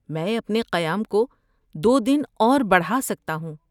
میں اپنے قیام کو دو دن اور بڑھا سکتا ہوں۔